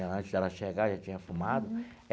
Antes de ela chegar, já tinha fumado.